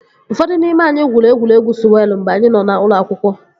Ụfọdụ n'ime anyị gwuru egwuregwu sụwelụ mgbe anyị nọ na ụlọ akwụkwọ